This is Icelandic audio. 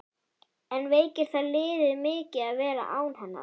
En veikir það liðið mikið að vera án hennar?